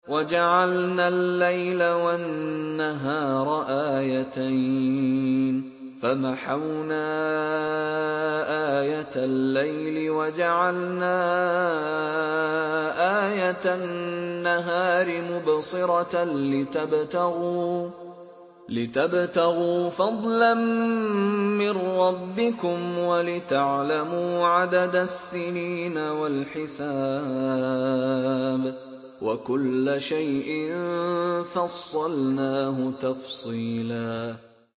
وَجَعَلْنَا اللَّيْلَ وَالنَّهَارَ آيَتَيْنِ ۖ فَمَحَوْنَا آيَةَ اللَّيْلِ وَجَعَلْنَا آيَةَ النَّهَارِ مُبْصِرَةً لِّتَبْتَغُوا فَضْلًا مِّن رَّبِّكُمْ وَلِتَعْلَمُوا عَدَدَ السِّنِينَ وَالْحِسَابَ ۚ وَكُلَّ شَيْءٍ فَصَّلْنَاهُ تَفْصِيلًا